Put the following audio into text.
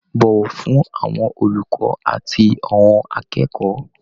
Bọ̀wọ̀ fún àwọn olùkọ́ àti àwọn akẹ́kọ̀ọ́.